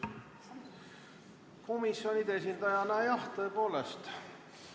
Komisjoni esindajana, jah, tõepoolest saate sõna võtta.